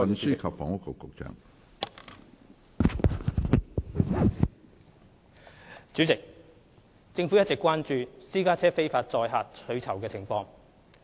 主席，政府一直關注私家車非法載客取酬的情況。